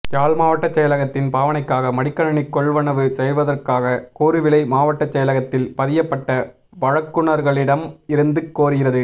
யாழ் மாவட்டச் செயலகத்தின் பாவனைக்காக மடிக்கணணி கொள்வனவு செய்வதற்காக கூறுவிலை மாவட்டச் செயலகத்தில் பதியப்பட்ட வழங்குனர்களிடம் இருந்து கோருகிறது